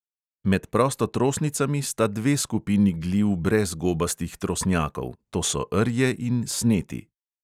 Med prostotrosnicami sta dve skupini gliv brez gobastih trosnjakov, to so rje in sneti.